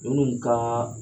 I bɛmun kalanna